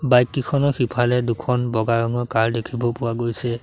Bike কিখনৰ সিফালে দুখন বগা ৰঙৰ কাৰ দেখিব পোৱা গৈছে।